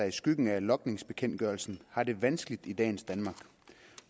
i skyggen af logningsbekendtgørelsen har det vanskeligt i dagens danmark